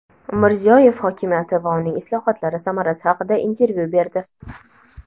Mirziyoyev hokimiyati va uning islohotlari samarasi haqida intervyu berdi.